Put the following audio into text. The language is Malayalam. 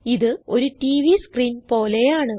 ഇത് ഒരു ടിവി സ്ക്രീൻ പോലെയാണ്